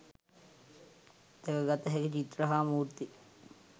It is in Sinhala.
දැකගත හැකි චිත්‍ර හා මූර්ති